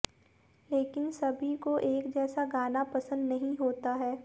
लेकिन सबी को एक जैसा गाना पसंद नहीं होता है